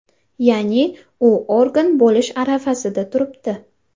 Ya’ni, u organ bo‘lish arafasida turibdi.